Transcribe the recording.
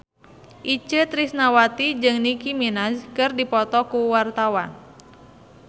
Itje Tresnawati jeung Nicky Minaj keur dipoto ku wartawan